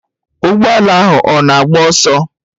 Ụgbọ ala ahụ ọ na-agba ọsọ?